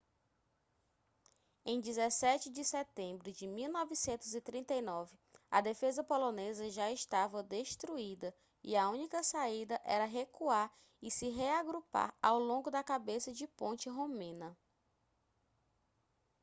em 17 de setembro de 1939 a defesa polonesa já estava destruída e a única saída era recuar e se reagrupar ao longo da cabeça de ponte romena